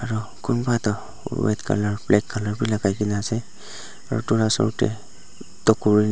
ro kunba toh red colour black colour bi lakai kaena ase aro edu la osor tae tokuri--